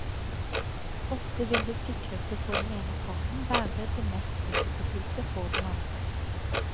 Ofte vil det sikreste for den ene parten være det mest risikofylte for den andre.